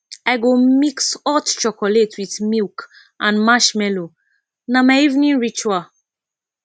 i go mix hot chocolate with milk and marshmallow na my evening ritual